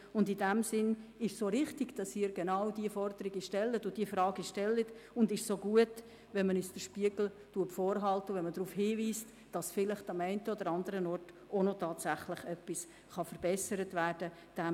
In diesem Sinn ist es auch richtig, dass Sie genau diese Forderungen und Fragen stellen, und es ist gut, wenn Sie uns den Spiegel vorhalten und darauf hinweisen, dass vielleicht am einen oder anderen Ort tatsächlich etwas verbessert werden kann.